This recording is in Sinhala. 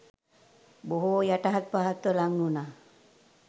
බොහෝ යටහත් පහත්ව ලං වුණා.